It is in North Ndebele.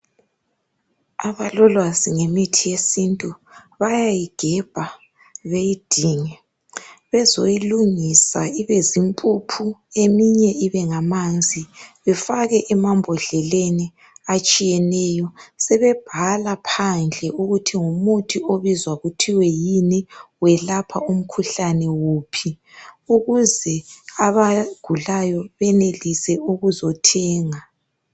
Abalolwazi ngemithi yesintu, bayayigebha beyidinge. Bezoyilungisa ibe zimpuphu, eminye ibe ngamanzi befake emambodleleni etshiyeneyo. Sebebhala phandle ukuthi ngumuthi obizwa kuthiwe yini, uyelapha umkhuhlane wuphi, ukuze abagulayo benelise ukuzothenga.